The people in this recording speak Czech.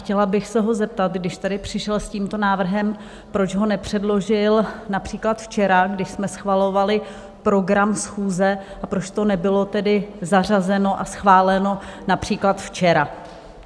Chtěla bych se ho zeptat, když tady přišel s tímto návrhem, proč ho nepředložil například včera, když jsme schvalovali program schůze, a proč to nebylo tedy zařazeno a schváleno například včera?